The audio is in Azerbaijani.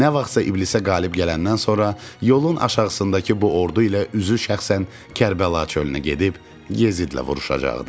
Nə vaxtsa iblisə qalib gələndən sonra yolun aşağısındakı bu ordu ilə üzü şəxsən Kərbəla çölünə gedib Yezidlə vuruşacaqdı.